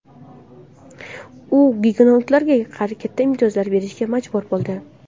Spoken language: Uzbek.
U gugenotlarga katta imtiyozlar berishga majbur bo‘ldi.